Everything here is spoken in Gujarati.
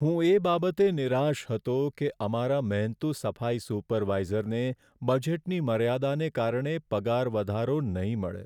હું એ બાબતે નિરાશ હતો કે અમારા મહેનતુ સફાઈ સુપરવાઇઝરને બજેટની મર્યાદાને કારણે પગાર વધારો નહીં મળે.